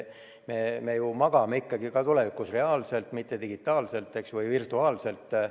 Me magame ka tulevikus reaalselt, mitte digitaalselt või virtuaalselt.